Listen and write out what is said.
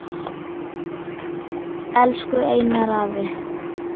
Lillý: Skaðað Ísland, ímynd Íslands?